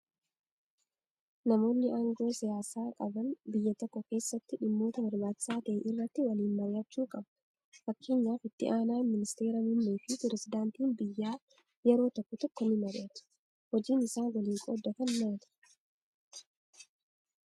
Namoonni aangoo siyaasaa qaban biyya tokko keessatti dhimmoota barbaachisaa ta'e irratti waliin mari'achuu qabu. Fakkeenyaaf itti aanaan ministeera muummee fi pirezedaantiin biyyaa yeroo tokko tokko ni mari'atu. Hojiin isaan waliin qooddatan maali?